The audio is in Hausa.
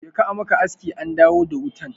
Je ka a maka aski an dawo da wutan.